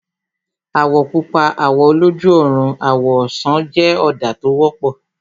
Àwọ̀ Pupa, àwọ̀ oloju ọrùn, àwọ̀ ọsàn jẹ́ ọ̀dà tó wọ́pọ̀